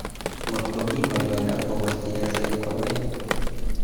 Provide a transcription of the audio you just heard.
ngot komi ngoliot akobo siaset konee